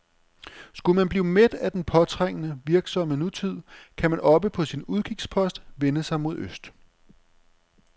Skulle man blive mæt af den påtrængende, virksomme nutid, kan man oppe på sin udkigspost vende sig mod øst.